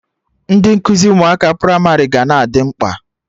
Ndị nkuzi ụmụaka pramarị ga na-adị mkpa